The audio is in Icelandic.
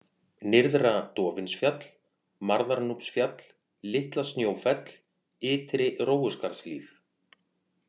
Nyrðra-Dofinsfjall, Marðarnúpsfjall, Litla- Snjófell, Ytri-Rófuskarðshlíð